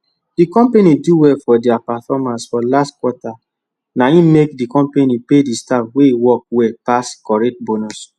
d compani do well for dia performance for last quarter na e make d company pay d staff wey works well pass correct bonus